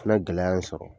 Fana gɛlɛya n sɔrɔ